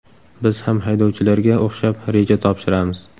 Biz ham haydovchilarga o‘xshab reja topshiramiz.